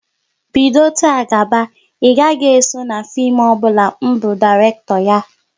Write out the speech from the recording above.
Bido taa gaba, ị gaghị eso na fim ọbụla m bu Dairekto ya!